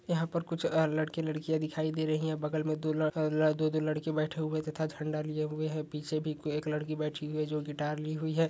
यहां पर कुछ लड़के लड़कियां दिखाई दे रही हैं बगल मे दो लड़का दो दो लड़के बैठे हुए तथा झंडा लिए हुए है पीछे भी एक लड़की बैठी हुई है जो गिटार ली हुई है।